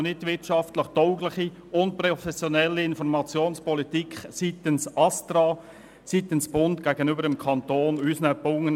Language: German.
Nicht wirtschaftlich tauglich und unprofessionell ist die Informationspolitik seitens des Bundesamts für Strassen (ASTRA) gegenüber unseren Bauunternehmungen.